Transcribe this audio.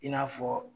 I n'a fɔ